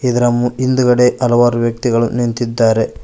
ಇದರ ಮು ಹಿಂದ್ಗಡೆ ಹಲವಾರು ವ್ಯಕ್ತಿಗಳು ನಿಂತಿದ್ದಾರೆ.